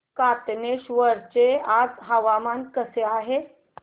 कातनेश्वर चे आज हवामान कसे आहे